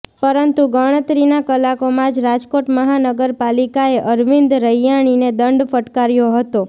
પરંતુ ગણતરીના કલાકોમાં જ રાજકોટ મહાનગરપાલિકાએ અરવિંદ રૈયાણીને દંડ ફટાકર્યો હતો